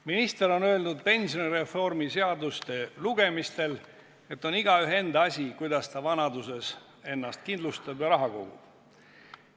Minister on öelnud pensionireformi seaduste lugemistel, et on igaühe enda asi, kuidas ta ennast vanaduseks kindlustab ja raha kogub.